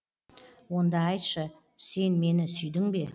онда айтшы сен мені сүйдің бе